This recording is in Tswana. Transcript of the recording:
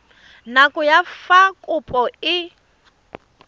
nako ya fa kopo e